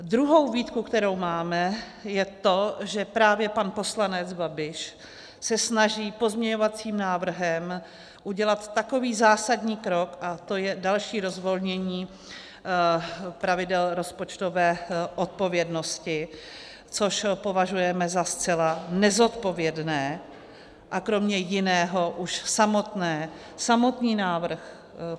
Druhá výtka, kterou máme, je to, že právě pan poslanec Babiš se snaží pozměňovacím návrhem udělat takový zásadní krok, a to je další rozvolnění pravidel rozpočtové odpovědnosti, což považujeme za zcela nezodpovědné, a kromě jiného už samotný návrh...